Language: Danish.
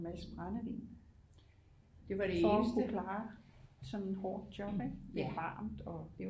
En masse brændevin for at kunne klare sådan et hårdt job ikke det er jo varmt og